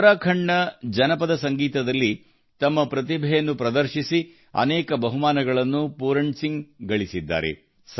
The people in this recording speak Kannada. ಉತ್ತರಾಖಂಡ್ ನ ಜನಪದ ಸಂಗೀತದಲ್ಲಿ ತಮ್ಮ ಪ್ರತಿಭೆಯನ್ನು ಪ್ರದರ್ಶಿಸಿ ಅನೇಕ ಬಹುಮಾನಗಳನ್ನು ಪೂರಣ್ ಸಿಂಗ್ ಗಳಿಸಿದ್ದಾರೆ